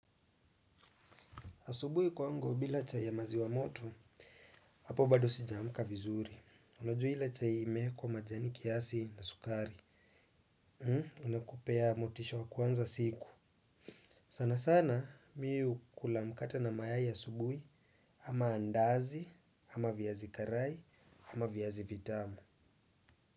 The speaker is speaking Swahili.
Asubui kwangu bila chai ya maziwa moto, hapo bado sijaamuka vizuri. Unajua ile chai imeekwa majani kiasi na sukari. Unakupea motisha wa kuanza siku. Sanasana mi hukula mkate na mayai asubui ama andazi, ama viazi karai, ama viazi vitamu.